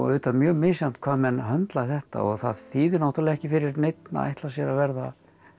auðvitað mjög misjafnt hvað menn höndla þetta og það þýðir náttúrulega ekki fyrir neinn að ætla sér að verða